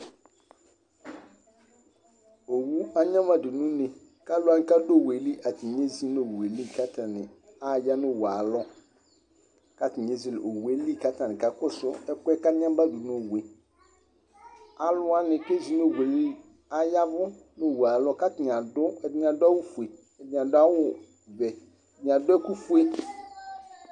Owu anyamadu n'uné k'aluwani k'adù owue li atani ezi n'owue li k'atani ãya nu owue ayi alɔ k'atani ézele owue li k'aka kɔsu ɛkuɛ k'anyamadu n'owueli, aluwani k'ezi n'owueli aya vu n'owue ayialɔ k'atani adu, ɛdini adu awù fue ɛdini adu awù vɛ, ɛdini adu ɛku fue